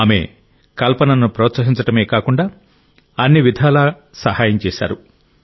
ఆమె కల్పనను ప్రోత్సహించడమే కాకుండా అన్ని విధాలుగా సహాయం చేశారు